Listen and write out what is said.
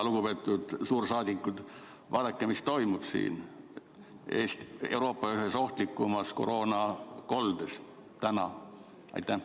Lugupeetud suursaadikud, vaadake, mis toimub siin Eestis, Euroopa ühes ohtlikumas koroonakoldes täna!